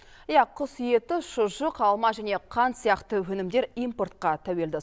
иә құс еті шұжық алма және қант сияқты өнімдер импортқа тәуелді